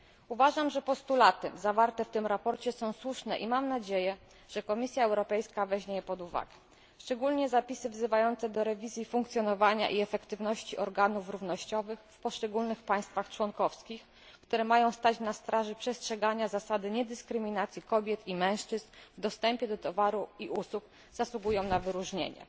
Uważam, że postulaty zawarte w tym sprawozdaniu są słuszne i mam nadzieję, że Komisja Europejska weźmie je pod uwagę. Szczególnie zapisy wzywające do rewizji funkcjonowania i efektywności organów równościowych w poszczególnych państwach członkowskich, które mają stać na straży przestrzegania zasady niedyskryminacji kobiet i mężczyzn w dostępie do towarów i usług zasługują na wyróżnienie.